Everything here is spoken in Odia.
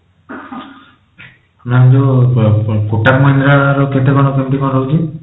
ma'am ଯୋଉ kotak mahindra ର କେତେ କଣ କେମିତି କଣ ରହୁଛି?